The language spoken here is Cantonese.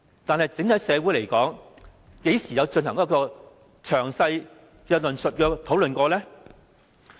但是，在整體社會上，何時曾進行詳細的論述和討論呢？